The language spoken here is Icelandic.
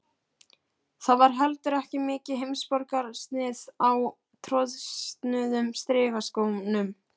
Það var heldur ekki mikið heimsborgarasnið á trosnuðum strigaskónum.